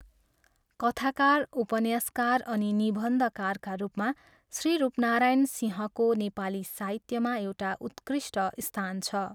कथाकार, उपन्यासकार अनि निबन्धकारका रूपमा श्री रूपनारायण सिंहको नेपाली साहित्यमा एउटा उत्कृष्ट स्थान छ।